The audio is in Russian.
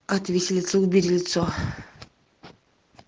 от виселицы убери лицо